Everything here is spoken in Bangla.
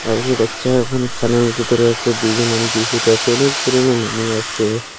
আর দু বাচ্চা ওখানে খেনার ভিতরে আসে দুজন মানুষ দুই সাইডে আসে অনেক ধরনের মানুষ আসে।